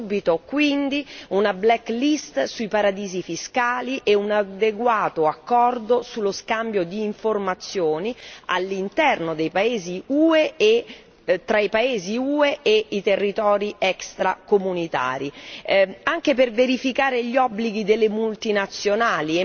Subito, quindi, una black list sui paradisi fiscali e un adeguato accordo sullo scambio di informazioni all'interno dei paesi UE e tra i paesi UE e i territori extracomunitari anche per verificare gli obblighi delle multinazionali.